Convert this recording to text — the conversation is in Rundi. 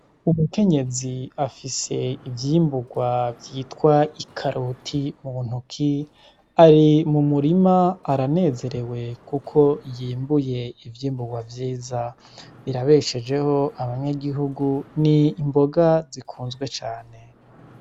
Umukenyezi afise ivyimburwa vyitwa i karoti mu ntoki ari mumurima aranezerewe, kuko yimbuye ivyimburwa vyiza rirabeshejeho abanyagihugu ni imboga zikunzwe cane.